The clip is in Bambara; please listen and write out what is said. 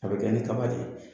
A bɛ kɛ ni kaba de ye.